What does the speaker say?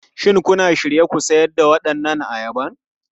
Shin kuna shirye ku sayar da waɗannan ayaba?